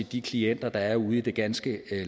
de klienter der er ude i det ganske